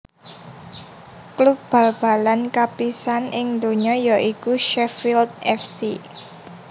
Klub bal balan kapisaan ing donya ya iku Sheffield F C